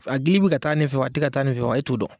A gili bi ka taa nin fɛ wa a ti ka taa nin fɛ wa e t'o dɔn